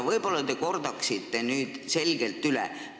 Võib-olla te kordate selgelt üle.